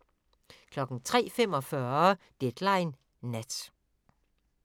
03:45: Deadline Nat